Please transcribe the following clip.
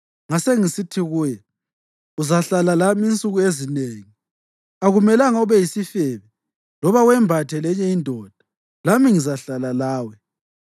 Ngasengisithi kuye, “Uzahlala lami insuku ezinengi; akumelanga ube yisifebe loba wembathe lenye indoda, lami ngizahlala lawe.”